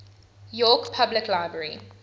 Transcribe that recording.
york public library